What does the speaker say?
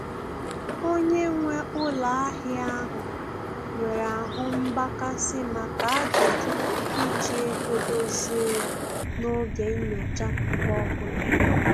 Onye nwe ụlọ ahịa ahụ nwere ahụ mgbakasị maka ajụjụ iji ego dozie ya n'oge nnyocha mgbe ọbụla